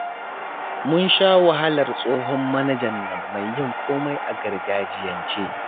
Mun sha wahalar tsohon manajan nan mai yin komai a gargajiyance